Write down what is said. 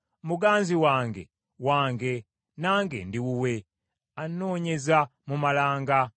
Muganzi wange, wange, nange ndi wuwe; anoonyeza mu malanga.